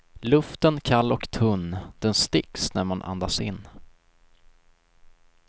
Luften kall och tunn, den sticks när man andas in.